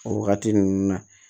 O wagati ninnu na